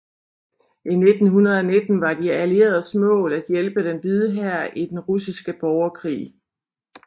I 1919 var De Allieredes mål at hjælpe Den Hvide Hær i den russiske borgerkrig